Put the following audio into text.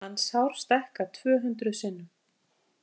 Mannshár stækkað tvö hundruð sinnum.